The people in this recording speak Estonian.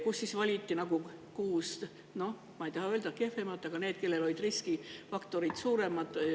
Seal valiti välja kuus – ma ei taha öelda, et kehvemat – riiki, kellel olid riskifaktorid suuremad.